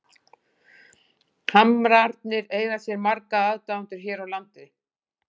Hamrarnir eiga sér marga aðdáendur hér á landi.